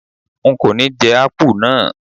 N kò ní jẹ́ Ápù náà.